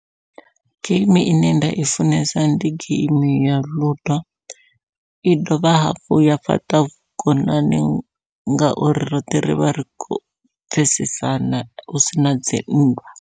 Geimi ine nda i funesa ndi geimi ya ludo, i dovha hafhu ya fhaṱa vhukonani ngauri roṱhe rivha ri kho pfhesesana hu sina dzi nndwa.